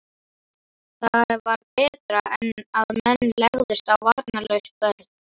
Það var betra en að menn legðust á varnarlaus börn.